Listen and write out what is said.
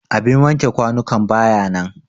abin wanke kwanukan ba ya nan